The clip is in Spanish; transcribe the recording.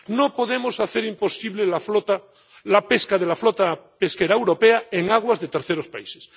No podemos hacer imposible la pesca de la flota pesquera europea en aguas de terceros países.